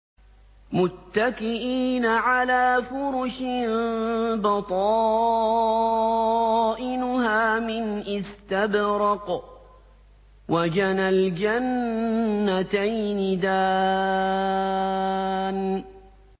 مُتَّكِئِينَ عَلَىٰ فُرُشٍ بَطَائِنُهَا مِنْ إِسْتَبْرَقٍ ۚ وَجَنَى الْجَنَّتَيْنِ دَانٍ